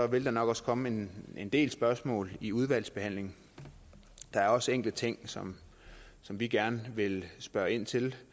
vil der nok også komme en del spørgsmål i udvalgsbehandlingen der er også enkelte ting som som vi gerne vil spørge ind til